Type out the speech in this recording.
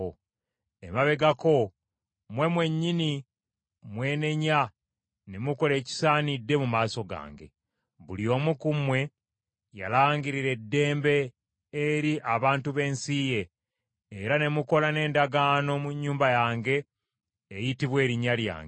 Emabegako mmwe mwennyini mwenenya ne mukola ekisaanidde mu maaso gange. Buli omu ku mmwe yalangirira eddembe eri abantu b’ensi ye, era ne mukola n’endagaano mu nnyumba yange eyitibwa Erinnya lyange.